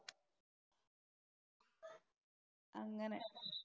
അങ്ങനെ.